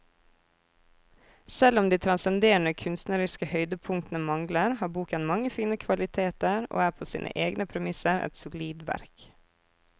Selv om de transcenderende kunstneriske høydepunktene mangler, har boken mange fine kvaliteter og er på sine egne premisser et solid verk.